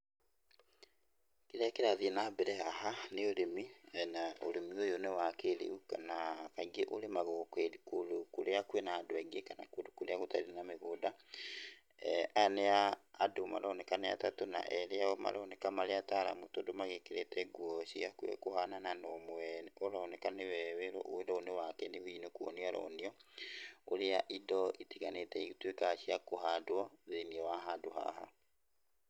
Kĩrĩa kĩrathiĩ na mbere haha nĩ ũrĩmi na ũrĩmi ũyũ nĩ wa kĩrĩu kana kaingĩ ũrĩmagwo kũndũ kũrĩa kwĩna andũ aingĩ kana kũndũ kũrĩa gũtarĩ na mĩgũnda, aya nĩ andũ maroneka nĩ atatu na erĩ aao maroneka marĩ ataaramu tondũ magĩkĩrĩte nguo ciĩ hakuhĩ kũhanana na ũmwe ũroneka nĩwe wĩra ũyũ nĩ wake rĩu hihi nĩ kuonio aronio, ũrĩa indo itiganĩte ituĩkaga cia kũhandwo thĩinii wa handũ haha.